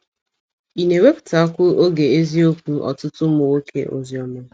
Ị̀ na - ewepụtakwu oge ezikwu ọtụtụ ụmụ nwoke ozi ọma?